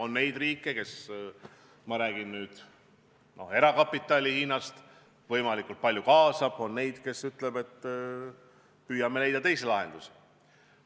On neid riike, kes – ma räägin nüüd Hiina erakapitalist – neid võimalikult palju kaasavad, ja on neid, kes ütlevad, et püüavad leida teisi lahendusi.